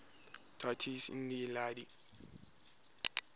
deities in the iliad